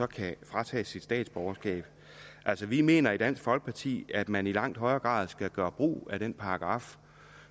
kan fratages sit statsborgerskab altså vi mener i dansk folkeparti at man i langt højere grad skal gøre brug af den paragraf